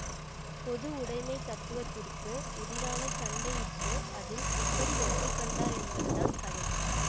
பொது உடைமைத் தத்துதுவத்திற்கு எதிரான சண்டை இட்டு அதில் எப்படி வெற்றி கண்டார் என்பது தான் கதை